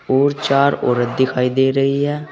और चार औरत दिखाई दे रही है।